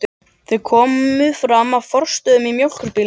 Þau komu fram að Frostastöðum í mjólkurbílnum.